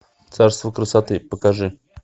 царство красоты покажи